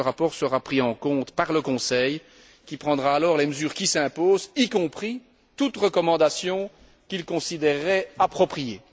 Ce rapport sera pris en compte par le Conseil qui prendra alors les mesures qui s'imposent, y compris toute recommandation qu'il considérerait appropriée.